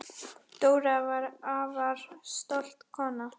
Dóra var afar stolt kona.